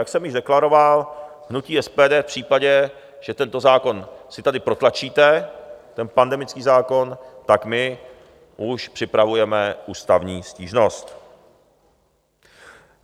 Jak jsem již deklaroval, hnutí SPD v případě, že tento zákon si tady protlačíte, ten pandemický zákon, tak my už připravujeme ústavní stížnost.